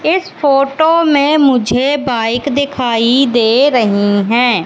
इस फोटो में मुझे बाइक दिखाई दे रही हैं।